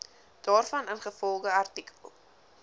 daarvan ingevolge artikel